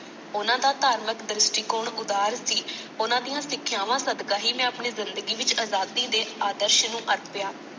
ਉਹਨਾਂ ਦਾ ਧਾਰਮਿਕ ਦ੍ਰਿਸ਼ਟੀਕੋਣ ਉਦਾਰ ਸੀ। ਉਹਨਾਂ ਦੀਆਂ ਸਿੱਖਿਆਵਾਂ ਸਦਕਾ ਹੀ ਮੈਂ ਆਪਣੀ ਜਿੰਦਗੀ ਵਿਚ ਆਜ਼ਾਦੀ ਦੇ ਆਦਰਸ਼ ਨੂੰ ਅਰਪਿਆ।